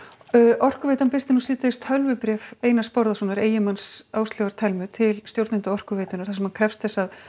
Orkuveitan birti nú síðdegis tölvubréf Einars Bárðarsonar eiginmanns Áslaugar Telmu til stjórnenda Orkuveitunnar þar sem hann krefst þess að